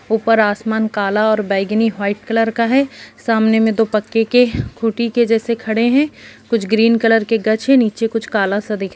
ऊपर आसमान काला और बैगनी वाइट कलर का हैं सामने में दो पक्के के कूटि के जैसे खड़े हैं कुछ ग्रीन कलर की गछ हैं ऊँचे कुछ काला सा दिख--